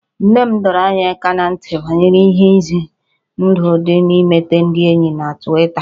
Nne m dọrọ anyị aka ná ntị banyere ihe ize ndụ dị n'imete ndị enyi na Twita